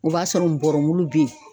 O b'a sɔrɔ nbɔrɔbulu be yen